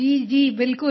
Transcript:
जी जी बिल्कुल